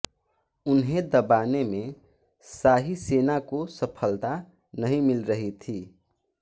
उन्हें दबाने में शाही सेना को सफलता नहीं मिल रही थी